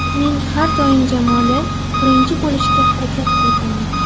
Men har doim jamoada birinchi bo‘lishga harakat qilganman.